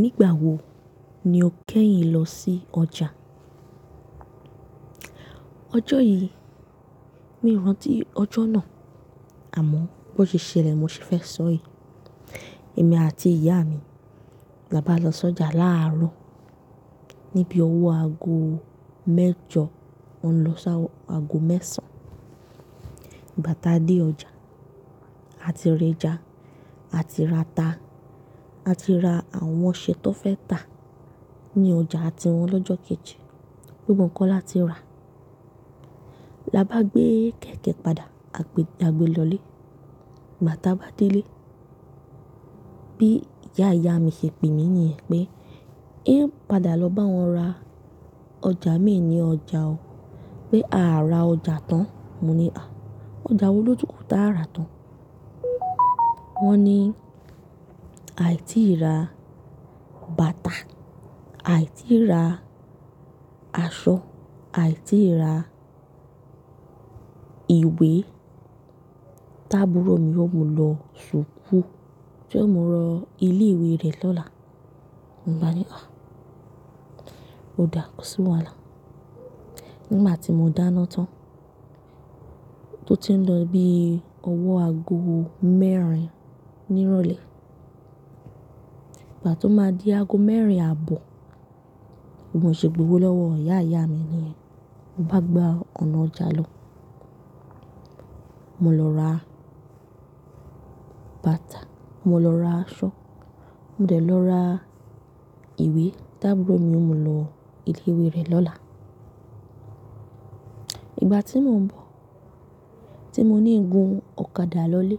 Nígbà wo ni o kẹ́yìn lọ sí ọjà? Ọjọ́ yìí, mi ò rántí ọjọ́ náà. Àmọ́ bó ṣe ṣẹlẹ̀, mo ṣe fẹ́ sọ yii. Èmi àti ìyá mi laba lọ sójà láàárọ̀ ní bí ọwọ́ aago mẹ́jọ, ó ń lọ sá aago mẹ́sàn-án. Ìgbà táa dé ọjà, a ti rẹja, a ti rata, a ti ra àwọn oṣé tó fẹ́ tà ní ọjà àti wọn lọ́jọ́ kejì. Gbogbo nkan la ti ra. Labá gbé kẹ̀kẹ́ padà, a gbe lọlé. Ìgbà táa bá délé, bí ìyá ìyá mi ṣe pè mí niyẹn pé, "Ẹ́ pada lọ bá wọn ra ọjà mi ní ọjà o. Pé àá ra ọjà tán." Mo ní, "À! Ọjà wo lótùú kò ta ara tán?" Wọ́n ní, "Àì tí ì ra bàtà, àì tí ì ra aṣọ, àì tí ì ra ìwé. Tábúrò mi yóò mú lọ sùkú tí ó mu lọ ilé ìwé rẹ̀ lọ́la." Mo bá ní, "À! Ó dá, kó sì wàhálà."Nígbà tí mo dáná tán, tó ti ń lọ bí ọwọ́ aago mẹ́rin ní ìrọ̀lẹ́. Ìgbà tó máa di aago mẹ́rin àbọ̀, bimo ṣe gbowó lọ́wọ́ ìyá ìyá mi ni yẹn. Mo bá gba ọ̀nà ọjà lọ. Mo lọ ra bàtà, mo lọ ra aṣọ, mo dẹ̀ lọ ra ìwé. Tábúrò mi yóò mú lọ ilé ìwé rẹ̀ Ìgbà tí mò ń bọ̀, tí mo ní gun ọ̀kadà lọlé,